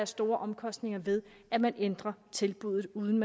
store omkostninger ved at man ændrer tilbuddet uden